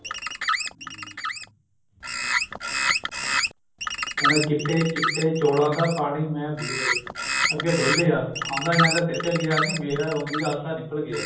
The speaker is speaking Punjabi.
ਕਹਿੰਦਾ ਚਿੱਟੇ ਚਿੱਟੇ ਚੋਲਾਂ ਦਾ ਪਾਣੀ ਮੈਂ ਬੂਹੇ ਅੱਗੇ ਡੋਲਿਆ ਆਉਂਦਾ ਜਾਂਦਾ ਤਿਲਕ ਗਿਆ ਨੀ ਮੇਰਾ ਰੋਂਦੀ ਦਾ ਹਾਸਾ ਨਿਕਲ ਗਿਆ